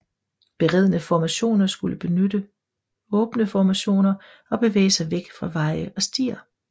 Beredne formationer skulle benytte åbne formationer og bevæge sig væk fra veje og stier